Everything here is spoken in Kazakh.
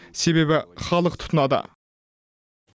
себебі халық тұтынады